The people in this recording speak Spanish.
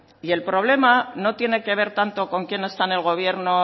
y el problema no tiene que ver tanto con quién está en el gobierno